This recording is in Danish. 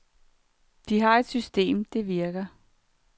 De har et system, det virker.